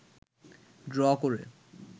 draw করে